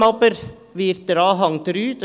Vor allem aber wird Anhang 3 aufgehoben;